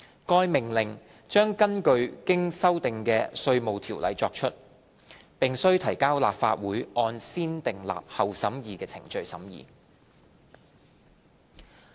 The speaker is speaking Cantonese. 該命令將根據經修訂的《稅務條例》作出，並須提交立法會按先訂立後審議的程序審議。